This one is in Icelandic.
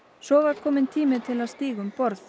svo var kominn tími til að stíga um borð